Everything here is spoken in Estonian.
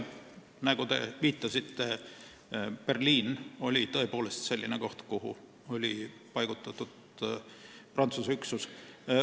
Nagu te viitasite, Berliin oli tõepoolest selline koht, kuhu oli paigutatud Prantsuse üksus.